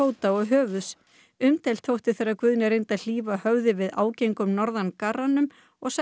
umdeilt þótti þegar Guðni reyndi að hlífa höfði við ágengum norðangarranum og setti upp buff